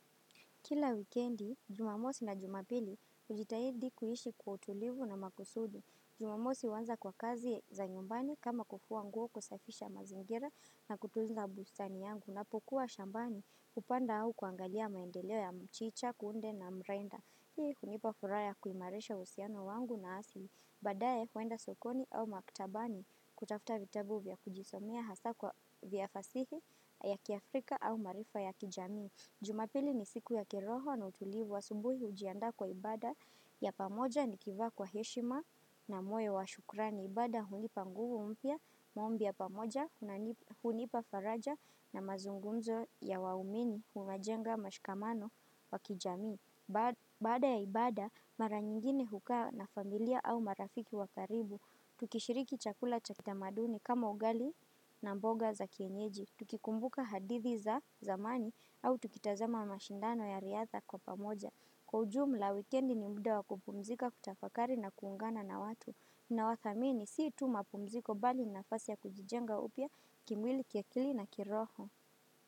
Kila wikendi, jumamosi na jumapili ujitahidi kuishi kwa utulivu na makusudi. Jumamosi wanza kwa kazi za nyumbani kama kufua nguo kusafisha mazingira na kutuza busani yangu. Napokuwa shambani upanda au kuangalia maendeleo ya mchicha, kunde na mrenda. Hii kunipa furaha ya kuimareisha usiano wangu na asili. Badaye huenda sokoni au maktabani kutafuta vitabu vya kujisomea hasa kwa vya fasihi ya kiafrika au marifa ya kijami. Jumapili ni siku ya kiroho na utulivu asumbuhi ujianda kwa ibada ya pamoja ni kivaa kwa heshima na moyo wa shukrani. Ibada hunipa nguvu umpia, maombi ya pamoja, hunipa faraja na mazungunzo ya waumini, umajenga, mashkamano, wakijami. Bada ya ibada, mara nyingine hukaa na familia au marafiki wakaribu. Tukishiriki chakula chakita maduni kama ugali na mboga za kienyeji. Tukikumbuka hadithi za zamani au tukitazama mashindano ya riatha kwa pamoja Kwa ujumla weekendi ni mda wa kupumzika kutafakari na kuungana na watu na wathamini si tu mapumziko bali na fasi ya kujijenga upia kimwili kiakili na kiroho.